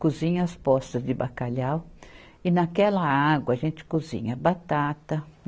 Cozinha as postas de bacalhau e naquela água a gente cozinha batata.